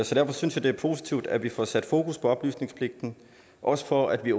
så derfor synes jeg det er positivt at vi får sat fokus på oplysningspligten også for at vi